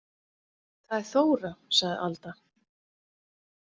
Það er Þóra, sagði Alda.